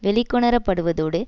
வெளிக்கொணரப்படுவதோடு